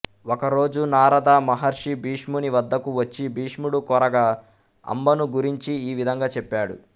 ఒక రోజు నారద మహర్షి భీష్ముని వద్దకు వచ్చి భీష్ముడు కోరగా అంబను గురించి ఈ విధంగా చెప్పాడు